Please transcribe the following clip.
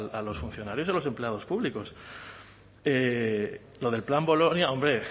a los funcionarios y a los empleados públicos lo del plan bolonia hombre